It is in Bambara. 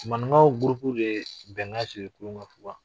Maninkaw gurupu de ye bɛnkan sigi kurukan fuga.